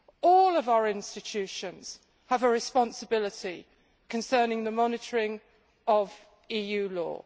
All of our institutions have a responsibility concerning the monitoring of EU law.